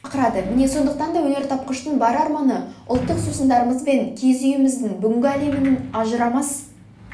шақырады міне сондықтан да өнертапқыштың бар арманы ұлттық сусындарымыз бен киіз үйіміздің бүгінгі әлемнің ажырамас